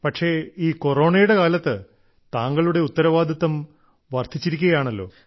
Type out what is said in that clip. പക്ഷേ ഈ കൊറോണയുടെ കാലത്ത് താങ്കളുടെ ഉത്തരവാദിത്തം വർദ്ധിച്ചിരിക്കുകയാണല്ലോ